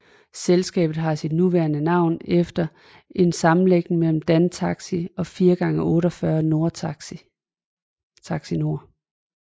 Selskabet har sit nuværende navn efter en sammenlægning mellem Dantaxi og 4x48 TaxiNord